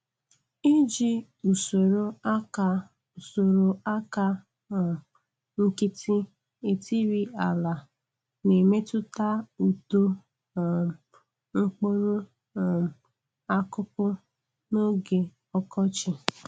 lji usoro aka usoro aka um nkịtị etiri ala na-emetụta uto um mkpụrụ um akụkụ n'oge ọkọchị.